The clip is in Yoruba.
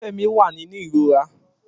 Femi wà nínú ìrora